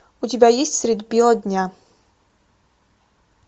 у тебя есть средь бела дня